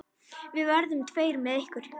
Við verðum tveir með ykkur.